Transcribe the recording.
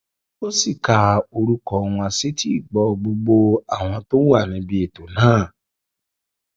ó sì ka orúkọ wọn sétíìgbọ gbogbo àwọn tó wà níbi ètò náà